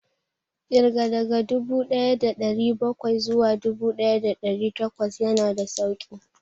Ƙirga daga dubu ɗaya da ɗari bakwai zuwa dubu ɗaya da ɗari takwas ya na da sauƙi